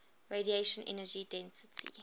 radiation energy density